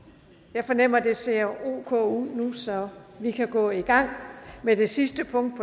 jeg fornemmer at det ser ok ud nu så vi kan gå i gang med det sidste punkt